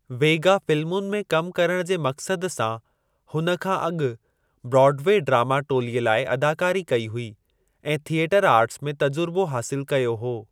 वेगा फ़िलमुनि में कमु करण जे मक़सद सां हुन खां अॻु ब्रॉड वे ड्रामा टोलीअ लाइ अदाकारी कई हुई ऐं थियटर आर्टस में तजुर्बो हासिलु कयो हो।